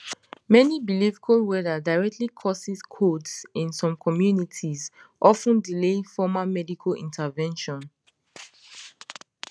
many believe cold weather directly causes colds in some communities of ten delaying formal medical intervention